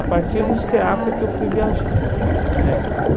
Viajar e A partir do SEACA é que eu fui viajar é.